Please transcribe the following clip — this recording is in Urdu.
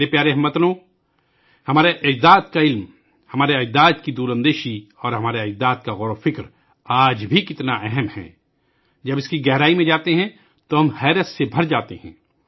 میرے پیارے ہم وطنو، ہمارے اجداد کا علم، ہمارے اجداد کی دور اندیشی اور ہمارے اجداد کی اتحاد کی فکر آج بھی کتنی اہم ہے ، جب ہم اس کی گہرائی میں جاتے ہیں تو ہمیں بہت حیرت ہوتی ہے